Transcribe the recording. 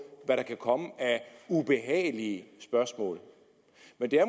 hvad der kan komme af ubehagelige spørgsmål men